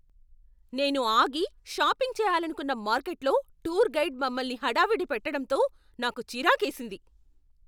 నేను ఆగి, షాపింగ్ చేయాలనుకున్న మార్కెట్లో టూర్ గైడ్ మమ్మల్ని హడావిడి పెట్టడంతో నాకు చిరాకేసింది.